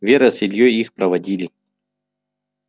вера с ильёй их проводили